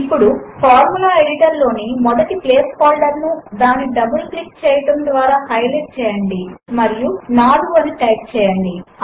ఇప్పుడు formula editor లోని మొదటి ప్లేస్ హోల్డర్ ను దానిని డబుల్ క్లిక్ చేయడము ద్వారా హైలైట్ చేయండి మరియు 4 అని టైప్ చేయండి